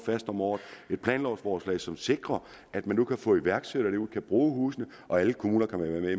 om året et planlovsforslag som sikrer at man nu kan få iværksættere derud og bruge husene og alle kommuner kan være med